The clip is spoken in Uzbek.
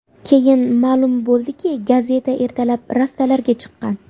Keyin ma’lum bo‘ldiki, gazeta ertalab rastalarga chiqqan.